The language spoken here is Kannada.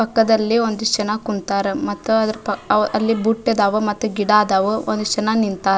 ಪಕ್ಕದಲ್ಲಿ ಒಂದಿಷ್ಟು ಜನ ಕುಂತರ ಮತ್ತ ಅದರ ಅಲ್ಲಿ ಪಕ್ಕ ಬುತ್ತಿ ಅದಾವ ಗಿಡ ಅದಾವ ಒಂದಿಷ್ಟು ಜನ ನಿಂತಾರ.